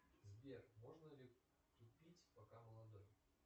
сбер можно ли тупить пока молодой